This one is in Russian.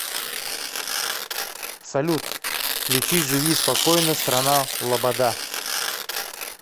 салют включи живи спокойно страна лобода